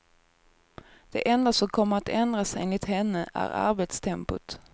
Det enda som kommer att ändras enligt henne är arbetstempot.